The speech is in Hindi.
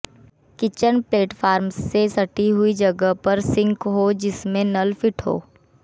किचन प्लेटफार्म से सटी हुई जगह पर सिंक हो जिसमें नल फिट हो